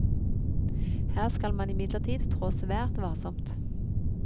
Her skal man imidlertid trå svært varsomt.